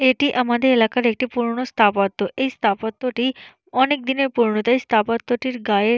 এটি আমাদের এলাকার একটি পুরোনো স্থাপত্য এই স্থাপত্য টি অনেক দিনের পুরোনো তাই স্থাপত্যটির গায়ে --